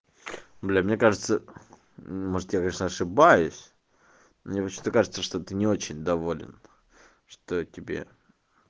блять мне кажется может я конечно ошибаюсь мне кажется что ты не очень доволен что тебе